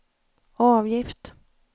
avgift